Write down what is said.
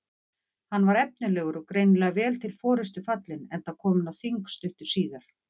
Hann var efnilegur og greinilega vel til forystu fallinn enda kominn á þing stuttu síðar.